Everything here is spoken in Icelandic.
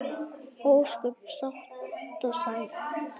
Ósköp sátt og sæl.